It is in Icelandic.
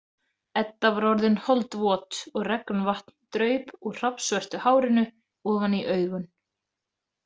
Edda var orðin holdvot og regnvatn draup úr hrafnsvörtu hárinu ofan í augun.